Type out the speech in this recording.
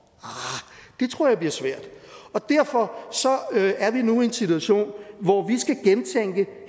arh det tror jeg bliver svært derfor er vi nu i en situation hvor vi skal gentænke